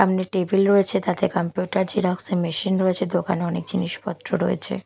সামনে টেবিল রয়েছে তাতে কম্পিউটার জেরক্স -এর মেশিন রয়েছে দোকানে অনেক জিনিসপত্র রয়েছে।